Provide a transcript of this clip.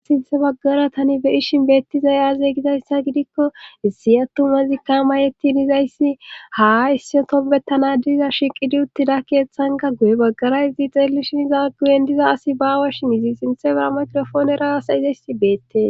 sinthe baggara tani be ishin beetti zayaazey gidayssa gidikko isiyatu mazikka mayettin izayssi haa issiotopbettana diza shiqidi uttida keeththanga guye baggarayzi xeellishin za guyen diza asi baawa shi mizi sinthe bera makrofoonerasa izayssi beette